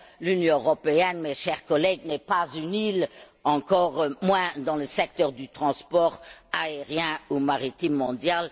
L'Union européenne, chers collègues, n'est pas une île, encore moins dans le secteur du transport aérien ou maritime mondial.